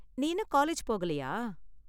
நீ இன்னும் காலேஜ் போகலையா?